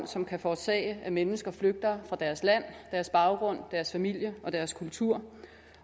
som kan forårsage at mennesker flygter fra deres land deres baggrund deres familie og deres kultur